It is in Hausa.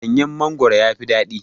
Ɗanyan mangwaro yafi daɗi